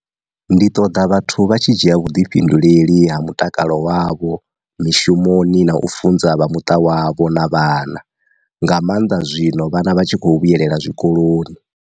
Ndi ṱoḓa vhathu vha tshi dzhia vhu ḓifhinduleli ha mutakalo wavho mi shumoni na u funza vha muṱa wavho na vhana, nga maanḓa zwino vhana vha tshi khou vhuyelela zwikoloni.